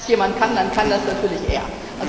Wenn das jemand kann, dann kann das natürlich er.